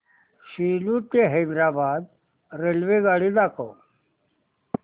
सेलू ते हैदराबाद रेल्वेगाडी दाखवा